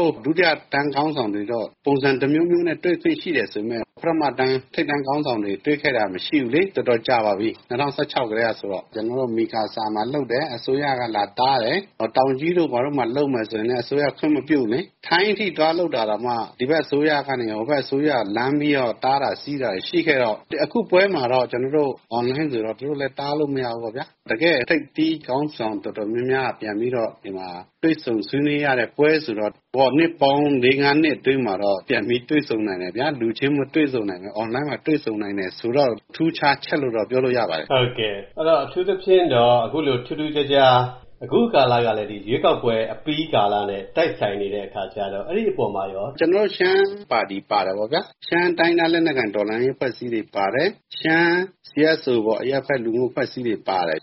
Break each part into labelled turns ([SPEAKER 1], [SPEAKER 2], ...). [SPEAKER 1] ော်တို့ ဒုတိယတန်း ခေါင်းဆောင်တွေတော့ ပုံစံတမျိုးမျိုးနဲ့ တွေ့ခွင့်ရှိတယ် ဆိုပေမယ့် ပထမတန်း ထိပ်တန်းခေါင်းဆောင်တွေ တွေ့ခဲ့တာ မရှိဘူးလေ။ တော်တော်ကြာပါပြီ၊ ၂၀၁၆ ကတည်းက ဆိုတော့။ ကျနော်တို့ မီကာဆာမှာလုပ်တယ်၊ အစိုးရက လာတားတယ်။ တောင်ကြီးတို့ ဘာတို့မှာ လုပ်မယ်ဆိုရင်လည်း အစိုးရက ခွင့်မပြုဘူးလေ။ ထိုင်းအထိ သွားလုပ်တာတောင်မှ ဒီဘက်အစိုးရကနေ ဟိုဘက်အစိုးရကို လှမ်းပြီးတော့ တားတာဆီးတာတွေ ရှိခဲ့တော့ အခုပွဲမှာတော့ အွန်လိုင်းဆိုတော့ သူတို့လည်း တားလို့မရဘူးပေါ့ဗျာ။ တကယ့်ထိပ်သီးခေါင်းဆောင် တော်တော်များများက ပြန်ပြီးတော့ တွေ့ဆုံဆွေးနွေးရတဲ့ပွဲဆိုတော့ နှစ်ပေါင်း လေးငါးနှစ်အတွင်းမှာတော့ ပြန်ပြီး တွေ့ဆုံနိုင်တယ်ဗျာ။ လူချင်းမတွေ့ဆုံနိုင်ပေမယ့် အွန်လိုင်းမှာ တွေ့ဆုံနိုင်တယ်ဆိုတော့ ထူးခြားချက်လို့တော့ ပြောလို့ရပါတယ်။
[SPEAKER 2] အထူးသဖြင့်တော့ အခုလို ထူးထူးခြားခြား အခုကာလကလည်း ရွေးကောက်ပွဲအပြီးကာလနဲ့ တိုက်ဆိုင်နေတဲ့အခါကျတော့ အဲဒီအပေါ်မှာရော။
[SPEAKER 1] ကျေနာ်တု့ိရှမ်းပါတီ ပါတာပေါ့ဗျာ၊ ရှမ်းတိုင်းရင်းသား လက်နက်ကိုင် တော်လှန်ရေးအဖွဲ့အစည်းတွေ ပါတယ်၊ ရှမ်း CSO ပေါ့၊ အရက်ဘက် လူမှုအဖွဲ့အစည်းတွေ ပါတယ်။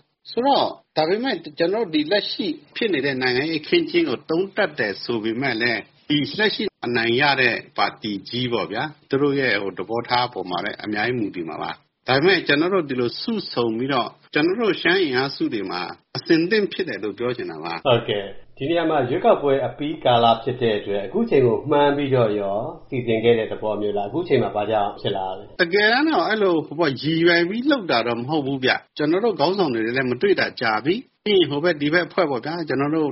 [SPEAKER 1] ဒါပေမယ့် ကျေနာ်တို့ လက်ရှိဖြစ်နေတဲ့ နိုင်ငံရေး အခင်းအကျင်းကို သုံးသပ်တယ် ဆိုပေမယ့်လည်း လက်ရှိ အနိုင်ရတဲ့ ပါတီကြီးပေါ့ဗျာ သူတို့ရဲ့ သဘောထားပေါ်မှာလည်း အများကြီး မူတည်မှာပါ။ ဒါပေမယ့် ကျနော်တို့ ဒီလို စုဆုံပြီးတော့ ကျနော်တို့ ရှမ်းအင်အားစုတွေမှာ အဆင်သင့်ဖြစ်တယ်လို့ ပြောချင်တာပါ။
[SPEAKER 2] ဒီနေရာမှာ ရွေးကောက်ပွဲ အပြီးကာလ ဖြစ်တဲ့အတွက် အခုချိန်ကို မှန်းပြီးတော့ရော စီစဉ်ခဲ့တဲ့ သဘောမျိုးလား၊ အခုချိန်မှ ဘာကြောင့် ဖြစ်လာရတာလဲ။
[SPEAKER 1] တကယ်တမ်းတော့ အဲလိုရည်ရွယ်ပြီး လုပ်တာတော့ မဟုတ်ဘူးဗျ။ ကျနော်တို့ခေါင်းဆောင်တွေလည်း မတွေ့တာကြာပြီ၊ ပြီးရင် ဟိုဘက် ဒီဘက် အဖွဲ့ပေါ့ဗျာ၊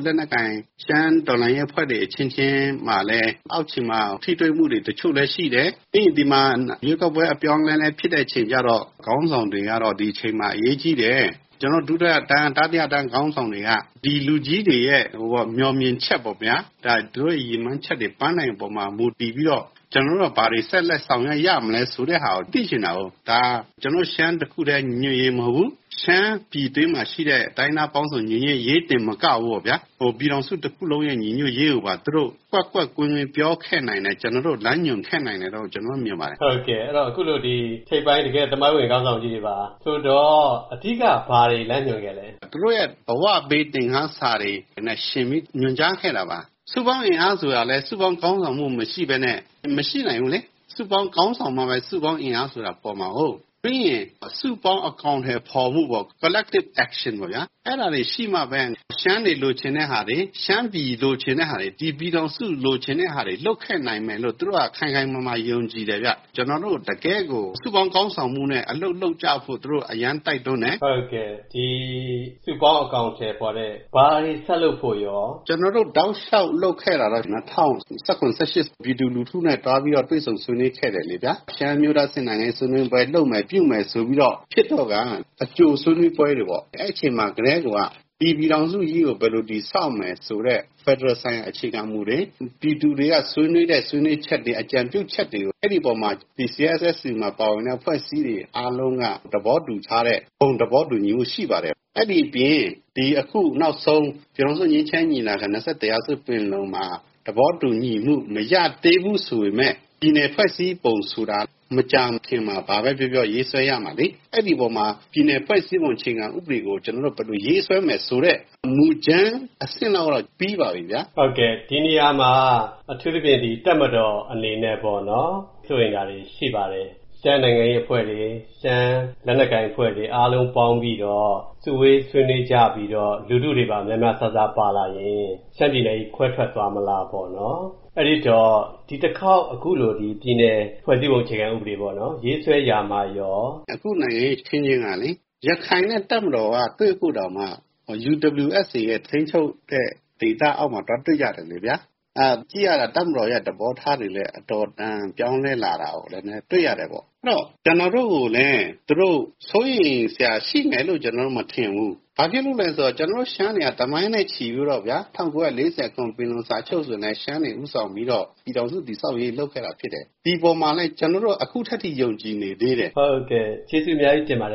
[SPEAKER 1] လက်နက်ကိုင် ရှမ်းတော်လှန်ရေးအဖွဲ့တွေ အချင်းချင်းမှာလည်း အောက်ခြေမှာ ထိတွေ့မှုတွေ တချို့လည်းရှိတယ်။ ပြီးရင် ဒီမှာ ရွေးကောက်ပွဲ အပြောင်းအလဲလည်း ဖြစ်တဲ့အချိန်ကျတော့ ခေါင်းဆောင်တွေကတော့ ဒီအချိန်မှာ အရေးကြီးတယ်၊ ကျနော်တို့ ဒုတိယတန်း တတိယတန်း ခေါင်းဆောင်တွေက ဒီလူကြီးတွေရဲ့ မြော်မြင်ချက်ပေါ့ဗျာ၊ သူတို့ ရည်မှန်းချက် ပန်းတိုင်အပေါ်မှာ မူတည်ပြီးတော့ ကျနော်တို့က ဘာတွေ ဆက်လက် ဆောင်ရွက်ရမလဲ ဆိုတဲ့ဟာကို သိချင်တာကိုး။ ဒါ ကျနော်တို့ ရှမ်းတခုတည်း ညီညွတ်ရေး မဟုတ်ဘူး။ ရှမ်းပြည်တွင်းမှာရှိတဲ့ တိုင်းရင်းသားပေါင်းစုံ ညီညွတ်ရေးတင် မကဘူးပေါ့ဗျာ၊ ပြည်ထောင်စုတခုလုံးရဲ့ ညီညွတ်ရေးကိုပါ သူတို့ ကွက်ကွက်ကွင်းကွင်း ပြောခဲ့နိုင်တယ်၊ လမ်းညွှန်ခဲ့နိုင်တယ်လို့ ကျနော်တို့ မြင်ပါတယ်။
[SPEAKER 2] အခုလို ထိပ်ပိုင်း သမိုင်းဝင်ခေါင်းဆောင်ကြီးတွေက အဓိက ဘာတွေ လမ်းညွှန်ခဲ့လဲ။
[SPEAKER 1] သူတို့ရဲ့ ဘဝပေးသင်ခန်းစာတွေနဲ့ယှဉ်ပြီး ညွှန်ကြားခဲ့တာပါ။ စုပေါင်းအင်အားဆိုတာလည်း စုပေါင်းခေါင်းဆောင်မှု မရှိဘဲနဲ့ မရှိနိုင်ဘူးလေ။ စုပေါင်းခေါင်းဆောင်မှပဲ စုပေါင်းအင်အားဆိုတာ ပေါ်မှာကိုး။ ပြီးရင် စုပေါင်းအကောင်အထည်ဖော်မှုပေါ့ - Collective action ပေါ့ဗျာ။ အဲဒါတွေရှိမှပဲ ရှမ်းတွေလိုချင်တဲ့ဟာတွေ၊ ရှမ်းပြည်လိုချင်တဲ့ဟာတွေ၊ ဒီပြည်ထောင်စု လိုချင်တဲ့ဟာတွေ လုပ်ခဲ့နိုင်မယ်လို့ သူတို့က ခိုင်ခိုင်မာမာ ယုံကြည်တယ်ဗျ။ ကျနော်တို့ တကယ့်ကို စုပေါင်းခေါင်းဆောင်မှုနဲ့ အလုပ်လုပ်ကြဖို့ သူတို့ အရမ်းတိုက်တွန်းတယ်။
[SPEAKER 2] ဒီ စုပေါင်းအကောင်အထည်ဖော်တာထက် ဘာတွေဆက်လုပ်ဖို့ရော။
[SPEAKER 1] ကျနော်တို့ တောက်လျှောက်လုပ်ခဲ့တာတော့ ၂၀၁၇-၁၈ ပြည်သူလူထုနဲ့ သွားပြီးတော့ တွေ့ဆုံ ဆွေးနွေးခဲ့တယ်လေဗျာ။ ရှမ်းအမျိုးသားအဆင့် နိုင်ငံရေးဆွေးနွေးပွဲ လုပ်မယ်၊ ပြုမယ်ဆိုပြီးတော့ ဖြစ်တော့ကာ အကြိုဆွေးနွေးပွဲတွေပေါ့။ အဲဒီအချိန်မှာကတည်းကိုက ဒီပြည်ထောင်စုကြီးကို ဘယ်လိုတည်ဆောက်မယ်ဆိုတဲ့ ဖက်ဒရယ်ဆိုင်ရာ အခြေခံမူတွေ၊ ပြည်သူတွေက ဆွေးနွေးတဲ့ ဆွေးနွေးချက်တွေ၊ အကြံပြုချက်တွေကို အဲဒီအပေါ်မှာ ဒီ CSSU မှာ ပါဝင်တဲ့ အဖွဲ့အစည်းတွေ အားလုံးက သဘောတူထားတဲ့ ဘုံသဘောတူညီမှု ရှိပါတယ်။ အဲဒီအပြင် ဒီ အခုနောက်ဆုံး ပြည်ထောင်စုငြိမ်းချမ်းရေးညီလာခံ ၂၁ ရာစုပင်လုံမှာ သဘောတူညီမှု မရသေးဘူးဆိုပေမယ့် ပြည်နယ်ဖွဲ့စည်းပုံဆိုတာ မကြာခင်မှာ ဘာပဲပြောပြော ရေးဆွဲရမှာလေ။ အဲဒီအပေါ်မှာ ပြည်နယ်ဖွဲ့စည်းပုံအခြေခံဥပဒေကို ကျနော်တို့ ဘယ်လိုရေးဆွဲမယ်ဆိုတဲ့ မူကြမ်းအဆင့်လောက်တော့ ပြီးပါပြီဗျာ။
[SPEAKER 2] ဒီနေရာမှာ အထူးသဖြင့် တပ်မတော်အနေနဲ့ စိုးရိမ်းတာတွေ ရှိပါတယ်။ ရှမ်းနိုင်ငံရေးအဖွဲ့တွေ၊ ရှမ်းလက်နက်ကိုင်အဖွဲ့တွေ အားလုံးပေါင်းပြီးတော့ စုဝေးဆွေးနွေးကြပြီးတော့ လူထုတွေပါ များများစားစား ပါလာရင် ရှမ်းပြည်နယ်ကြီး ခွဲထွက်သွားမလားပေါ့နော်။ အဲဒီတော့ ဒီတခေါက် အခုလို ဒီပြည်နယ်ဖွဲ့စည်းပုံအခြေခံဥပဒေ ရေးဆွဲရာမှာရော။
[SPEAKER 1] အခု နိုင်ငံရေးအခင်းအကျင်းကလေ ရခိုင်နဲ့ တပ်မတော်က တွေ့ဖို့တောင်မှ UWSA ရဲ့ ထိန်းချုပ်မှုဒေသအောက်မှာ သွားတွေ့ကြတယ်လေဗျာ။ ကြည့်ရတာ တပ်မတော်ရဲ့ သဘောထားတွေလည်း အတော်အတန် ပြောင်းလဲလာတာကိုလည်း တွေ့ရတယ်ပေါ့။ အဲဒီတော့ ကျနော်တို့ကိုလည်း သူတို့ စိုးရိမ်စရာရှိမယ်လို့ ကျနော်တို့ မထင်ဘူး။ ဘာဖြစ်လို့လဲဆိုတော့ ကျနော်တို့ရှမ်းတွေက သမိုင်းနဲ့ချီပြီးတော့ဗျာ ၁၉၄၇ ပင်လုံစာချုပ်ဆိုရင်လည်း ရှမ်းတွေဦးဆောင်ပြီးတော့ ပြည်ထောင်စုတည်ဆောက်ရေး လုပ်ခဲ့တာ ဖြစ်တယ်။ ဒီအပေါ်မှာလည်း ကျနော်တို့ အခုထက်ထိ ယုံကြည်နေသေးတယ်။
[SPEAKER 2] ဟုတ်ကဲ့၊ ကျေးဇူးအများကြီးတင်ပါတယ်